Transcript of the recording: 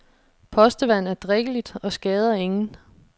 Postevand er drikkeligt og skader ingen.